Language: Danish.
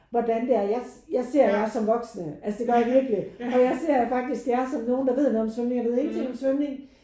Hvordan det er. Jeg ser jeg ser jer som voksne altså det gør jeg virkelig og jeg ser jer faktisk jer som nogen der ved noget om svømning. Jeg ved ingenting om svømning